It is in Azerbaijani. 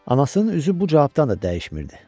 Anasının üzü bu cavabdan da dəyişmirdi.